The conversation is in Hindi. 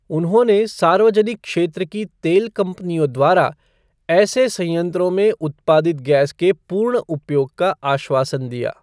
उन्होंने सार्वजनिक क्षेत्र की तेल कंपनियों द्वारा ऐसे संयंत्रों में उत्पादित गैस के पूर्ण उपयोग का आश्वासन दिया।